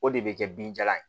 O de bɛ kɛ binjalan ye